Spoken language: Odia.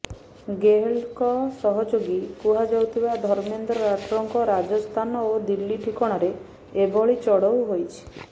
ଗେହଲଟଙ୍କ ସହଯୋଗୀ କୁହାଯାଉଥିବା ଧର୍ମେନ୍ଦ୍ର ରାଠୋରଙ୍କ ରାଜସ୍ଥାନ ଓ ଦିଲ୍ଲୀ ଠିକଣାରେ ଏଭଳି ଚଢ଼ଉ ହୋଇଛି